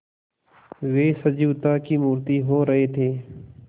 वे सजीवता की मूर्ति हो रहे थे